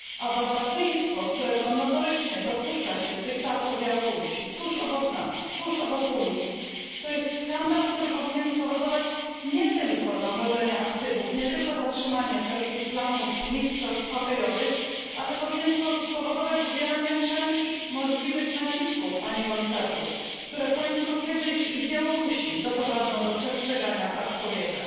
Barbarzyństwo, którego notorycznie dopuszcza się dyktator Białorusi tuż obok nas, tuż obok Unii, to jest skandal, który powinien spowodować nie tylko zamrożenie aktywów, nie tylko zatrzymanie wszelkich planów mistrzostw hokejowych, ale powinien spowodować wywieranie wszelkich możliwych nacisków, Panie Komisarzu, które w końcu kiedyś i na Białorusi doprowadzą do przestrzegania praw człowieka.